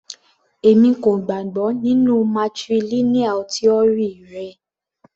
Èmi kò gbàgbọ́ nínú matrilineal tíórì rẹ.